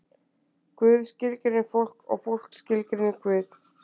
Guð skilgreinir fólk og fólk skilgreinir Guð.